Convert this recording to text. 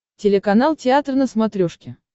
телеканал театр на смотрешке